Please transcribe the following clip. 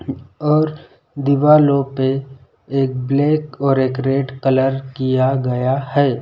और दीवालों पे एक ब्लैक और एक रेड कलर किया गया है।